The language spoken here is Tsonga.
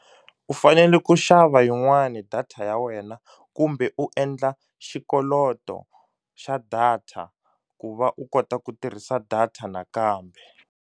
U fanele ku xava yin'wani data ya wena kumbe u endla xikoloto xa data ku va u kota ku tirhisa data nakambe.